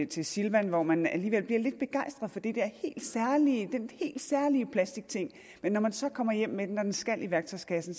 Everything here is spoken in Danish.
til silvan hvor man alligevel bliver lidt begejstret for den helt særlige plastikting men når man så kommer hjem med den og den skal i værktøjskassen